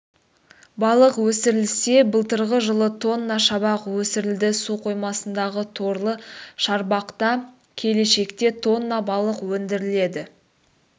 балық өсірілсе былтырғы жылы тонна шабақ өсірілді су қоймасындағы торлы шарбақта келешекте тонна балық өндіріледі